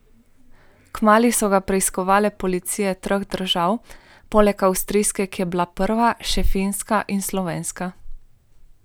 Kmalu so ga preiskovale policije treh držav, poleg avstrijske, ki je bila prva, še finska in slovenska.